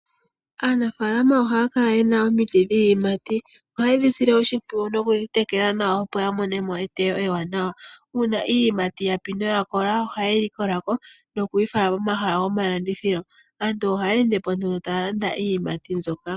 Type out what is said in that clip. Aanafaalama ohaya kala yena omiti dhiiyimati. Ohaye dhi sile oshimpwiyu nokudhi tekela nawa, opo ya mone mo eteyo ewaanawa. Uuna iiyimati yapi noya kola ohaye yi likola ko noku yi fala pomahala gomalandithilo. Aantu ohaya ende po nduno taya landa iiyimati mbyoka.